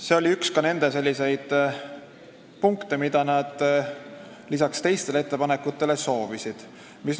See oli ka üks selliseid punkte, mida nad lisaks teistele ettepanekutele saavutada soovisid.